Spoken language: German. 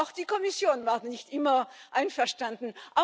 Auch die Kommission war nicht immer einverstanden.